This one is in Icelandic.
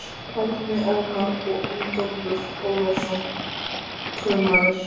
Árni Ómar og Ingólfur Ólafsson: Krummar?